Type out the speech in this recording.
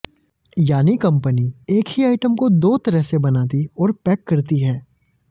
यानी कंपनी एक ही आइटम को दो तरह से बनाती और पैक करती है